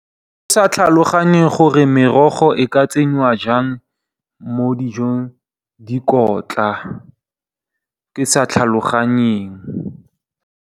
Ke sa tlhaloganye gore merogo e ka tsenya jang mo dijong dikotla, ke sa tlhaloganye.